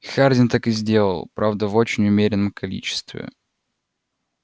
хардин так и сделал правда в очень умеренном количестве